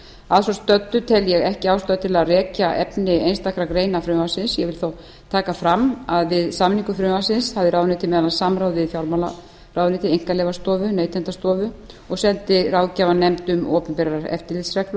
að svo stöddu tel ég ekki ástæðu til að rekja efni einstakra greina frumvarpsins ég vil þó taka fram að við samningu frumvarpsins hafði ráðuneytið meðal annars samráð við fjármálaráðuneytið einkaleyfastofu neytendastofu og seldi ráðgjafarnefnd opinberrar eftirlitsreglur